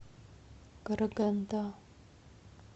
караганда